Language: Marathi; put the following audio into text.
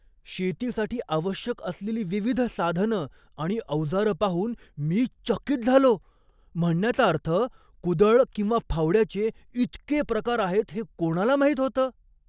शेतीसाठी आवश्यक असलेली विविध साधनं आणि अवजारं पाहून मी चकित झालो. म्हणण्याचा अर्थ, कुदळ किंवा फावड्याचे इतके प्रकार आहेत हे कोणाला माहीत होतं?